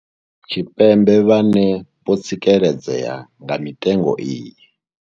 Tshipembe vhane vho tsikeledzea nga mitengo iyi.